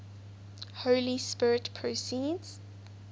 holy spirit proceeds